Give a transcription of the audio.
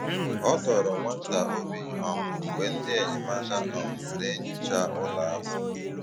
Ọ dọ̀ọrọ nwa ntà obi um mgbe ndị enyemáka um na-enyòcha ụlọ̀ ahụ̀.